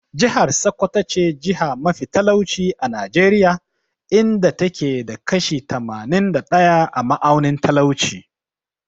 Jihar Sokoto ce jiha mafi talauci a Najeriya, inda ta ke da kashi tamanin da ɗaya a ma'aunin talauci.